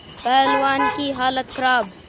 पहलवान की हालत खराब